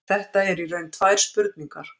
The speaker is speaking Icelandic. Þetta eru í raun tvær spurningar.